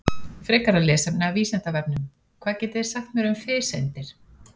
Frekara lesefni af Vísindavefnum: Hvað getið þið sagt mér um fiseindir?